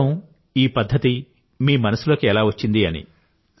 ఈ పదం ఈ పధ్ధతి మీ మనసులోకి ఎలా వచ్చింది